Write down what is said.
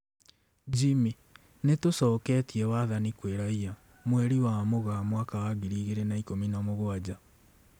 Jimmy: Nitũcoketie wathani kwĩ raia, mweri wa Mũgaa mwaka wa ngiri igĩrĩ na ikũmi na mũgwanja